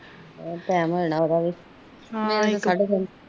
team ਹੋਨ ਵਾਲਾ ਉਹਦਾ ਵੀ